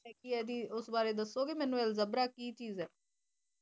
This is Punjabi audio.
ਆਯ ਕੀ ਆ ਜੀ ਦਸੋ ਮੇਨੂ ਓਸ ਬਾਰੇ ਦਸੋ ਗੇ ਮੇਨੂ ਅਲ੍ਜੇਬਰਾ ਕੀ ਚੀਜ਼ ਆਯ